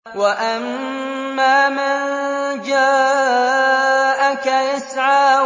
وَأَمَّا مَن جَاءَكَ يَسْعَىٰ